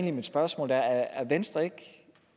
er mit spørgsmål er